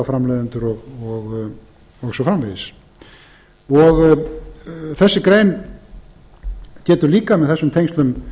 myndbandaframleiðendur bókaframleiðendur og svo framvegis þessi grein getur líka með þessum tengslum